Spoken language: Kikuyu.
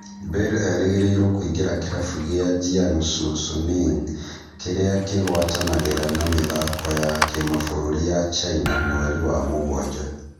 Bale erĩgĩrĩirwo kuingĩria kĩrabu gĩa Jiangsu Suning kĩrĩa kĩgwatanagĩra na mĩthako ya kĩmabũrũri ya China mweri wa mũgwanja